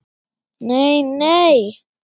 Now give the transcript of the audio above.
Nei, nei!